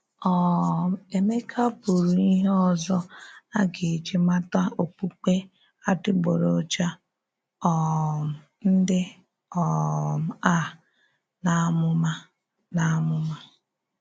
um Èmékà bùrù íhè òzò a gà-eji màtà òkpùkpè adị́gboròjà um ndí um a n’ámụ̀má. n’ámụ̀má.